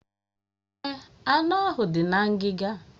Èè, anụ ahụ dị na ngiga.